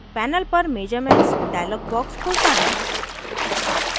panel पर measurements dialog box खुलता है